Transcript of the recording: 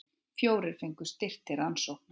Fjórir fengu styrk til rannsókna